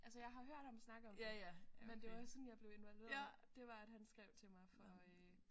Altså jeg har hørt ham snakke om det men det var sådan jeg blev involveret det var at han skrev til mig for øh